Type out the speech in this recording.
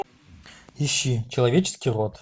ищи человеческий род